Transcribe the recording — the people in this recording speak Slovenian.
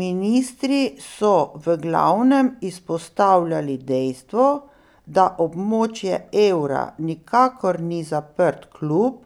Ministri so v glavnem izpostavljali dejstvo, da območje evra nikakor ni zaprt klub,